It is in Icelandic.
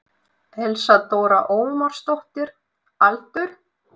Elsa Dóra Ómarsdóttir Aldur?